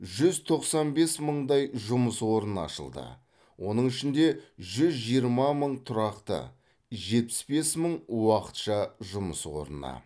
жүз тоқсан бес мыңдай жұмыс орны ашылды оның ішінде жүз жиырма мың тұрақты жетпіс бес мың уақытша жұмыс орны